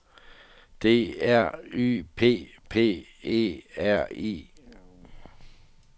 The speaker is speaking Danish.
D R Y P P E R I